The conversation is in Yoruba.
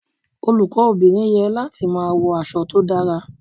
Olùkọ́ obìnrin ye láti máa wọ aṣọ tó dára.